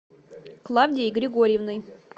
клавдией григорьевной